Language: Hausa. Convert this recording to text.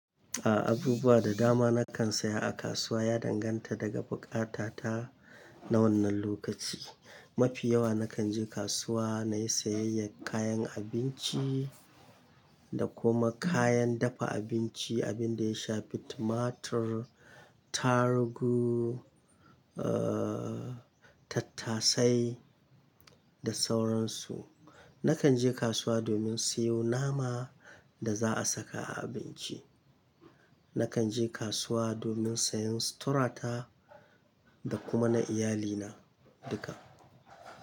A'a, abubuwa da dama na kan saya a kasuwa ya danganta daga buƙata ta na wannan lokaci. Mafi yawa na kan je kasuwa na yi sayayyar kayan abinci da kuma kayan dafa abinci, abin da ya shafi tumatur, tarugu, aaah, tattasai da sauransu. Na kan je kasuwa domin siyo nama da za'a saka a abinci. Na kan je kasuwa domin sayan suturata da kuma na iyalina duka.